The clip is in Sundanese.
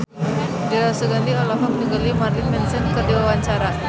Dira Sugandi olohok ningali Marilyn Manson keur diwawancara